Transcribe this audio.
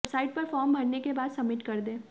website पर form भरने के बाद सब्मिट कर दें